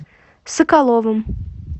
соколовым